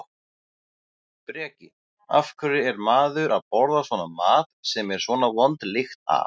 Breki: Af hverju er maður að borða svona mat sem er svona vond lykt af?